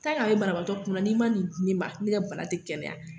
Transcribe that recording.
a bɛ banabaatɔ kunna n'i ma nin di ne ma ne ka bana tɛ kɛnɛya.